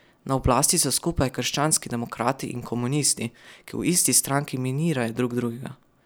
Na oblasti so skupaj krščanski demokrati in komunisti, ki v isti stranki minirajo drug drugega.